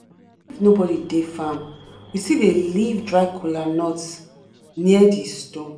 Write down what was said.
if nobody dey farm we still dey leave dry kola nut near di stone.